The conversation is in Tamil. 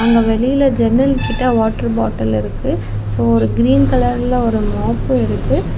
அங்க வெளியில ஜன்னல் கிட்ட ஒரு வாட்டர் பாட்டில் இருக்கு சோ ஒரு கிரீன் கலர்ல மாப்பும் இருக்கு.